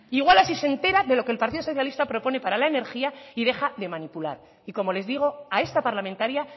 igual así se entera de lo que el partido socialista propone para la energía y deja de manipular y como les digo a esta parlamentaria